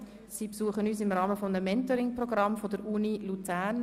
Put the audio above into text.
Sie besuchen uns im Rahmen eines Mentoring-Programms der Universität Luzern.